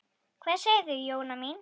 Hvað segir þú, Jóna mín?